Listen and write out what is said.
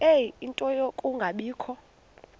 ie nto yokungabikho